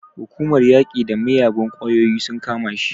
Hukumar yaƙi da miyagun ƙwayoyi sun kama shi.